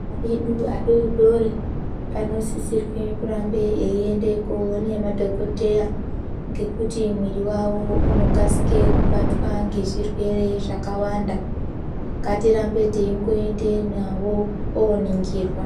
Ana edu adori-dori anosisirwe kurambe eyiende koone madhokodheya ngekuti mwiri wawo unokasike kubatwa ngezvirwere zvakawanda. Ngatirambe teingoendeyo nawo koningirwa.